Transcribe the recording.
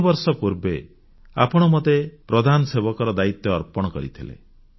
3 ବର୍ଷ ପୂର୍ବେ ଆପଣ ମୋତେ ପ୍ରଧାନସେବକର ଦାୟିତ୍ୱ ଅର୍ପଣ କରିଥିଲେ